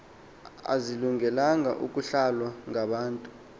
azilungelanga ukuhlalwa ngabantu